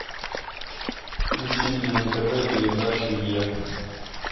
включи мне на тв передачу е